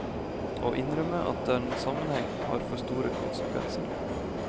Å innrømme at det er en sammenheng har for store konsekvenser.